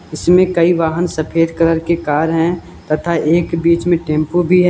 इसमें कई वाहन सफेद कलर के कार हैं तथा एक बीच में टेंपो भी है।